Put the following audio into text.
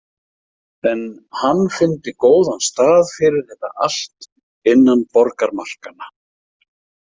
En hann fyndi góðan stað fyrir þetta allt innan borgarmarkanna.